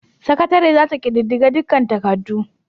Sakatare za ta ƙididdige dukkan takardu.